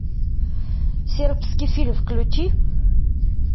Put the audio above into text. сербский фильм включи